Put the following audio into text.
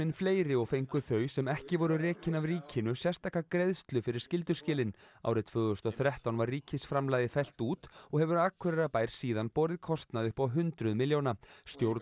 fleiri og fengu þau sem ekki voru rekin af ríkinu sérstaka greiðslu fyrir skylduskilin árið tvö þúsund og þrettán var ríkisframlagið fellt út og hefur Akureyrarbær síðan borið kostnað upp á hundruð milljóna stjórn